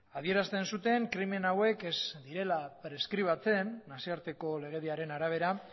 adierazten zuten krimen hauek ez direla preskribatzen nazioarteko legediaren arabera